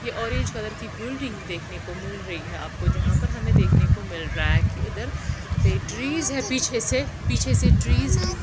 ये orange colour की building देखने को मिल रही है आपको जहां पर हमे देखने को मिल रहा है की इधर पे ट्रीज पिछेसे पिछेसे ट्रीज --